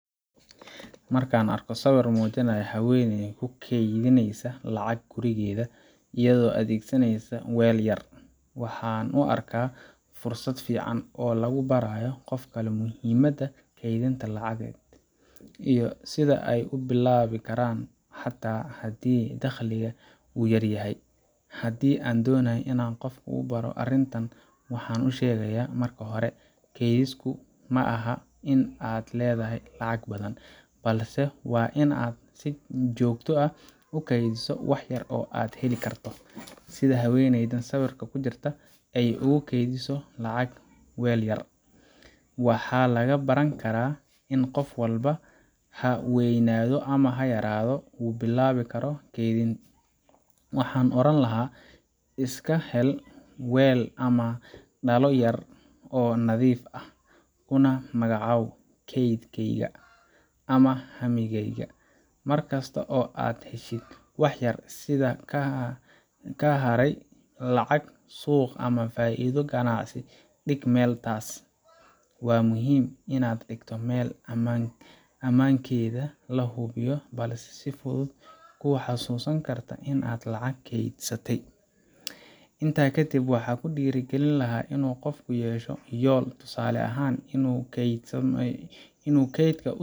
Marka aan arko sawir muujinaya haweeney ku keydinaysa lacag gurigeeda iyadoo adeegsaneysa weel yar, waxaan u arkaa fursad fiican oo lagu barayo qof kale muhiimadda kaydinta lacageed iyo sida ay u bilaabi karaan, xitaa haddii dakhliga uu yar yahay. Haddii aan doonayo in aan qof ku baro arrintan, waxaan u sheegayaa: Marka hore, kaydsigu ma aha in aad leedahay lacag badan, balse waa in aad si joogto ah u kaydiso wax yar oo aad heli karto. Sida haweeneydan sawirka ku jirta ay ugu keydinayso lacag weel yar, waxaa laga baran karaa in qof walba ha weynaado ama ha yaraado uu bilaabi karo keydin. Waxaan oran lahaa: Iska hel weel ama dhalo yar oo nadiif ah, kuna magacow kaydkayga ama hammigayga. Mar kasta oo aad heshid wax yar sida ka haray lacag suuq ama faa’iido ganacsi dhig meel taas ah. Waa muhiim in aad dhigto meel ammaankeeda la hubiyo, balse si fudud kuu xasuusin karta in aad lacag kaydsatay. Intaa ka dib, waxaan ku dhiirrigelin lahaa in uu qofku yeesho yool, tusaale ahaan inuu kaydka u.